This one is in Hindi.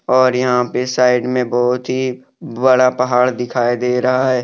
और यहां पे साइड में बहुत ही बड़ा पहाड़ दिखाई दे रहा है।